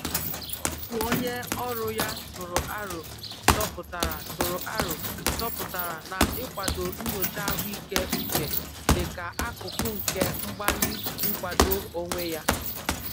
ọtu onye ọrụ ya tụrụ arọ chọpụtara tụrụ arọ chọpụtara na ikwado nyocha ahuike uche dika akụkụ nke mgbali nkwado onwe ya.